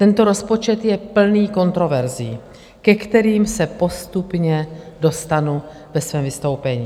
Tento rozpočet je plný kontroverzí, ke kterým se postupně dostanu ve svém vystoupení.